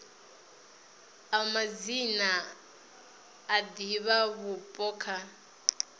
a madzina a divhavhupo kha